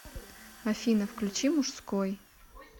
афина включи мужской